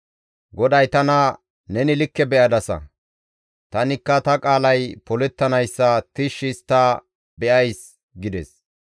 GODAY tana, «Neni likke be7adasa. Tanikka ta qaalay polettanayssa tishshi histta be7ays» gides.